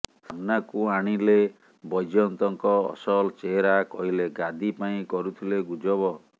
ସାମ୍ନାକୁ ଆଣିଲେ ବୈଜୟନ୍ତଙ୍କ ଅସଲ ଚେହେରା କହିଲେ ଗାଦି ପାଇଁ କରୁଥିଲେ ଗୁଜବ